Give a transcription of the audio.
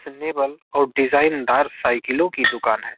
fashionable और design दार साईकिलों की दुकान है |